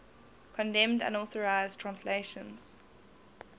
condemned unauthorized translations